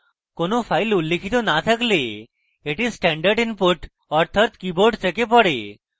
কোনো files উল্লিখিত no থাকলে এটি standard input অর্থাৎ keyboard থেকে পড়ে